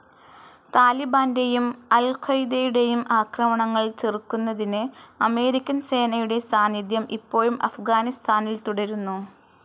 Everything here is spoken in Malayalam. താലിബാന്റേയും അൽ ഖ്വയ്ദയുടേയും ആക്രമണങ്ങൾ ചെറുക്കുന്നതിന് അമേരിക്കൻ സേനയുടെ സാന്നിധ്യം ഇപ്പോഴും അഫ്ഗാനിസ്താനിൽ തുടരുന്നു.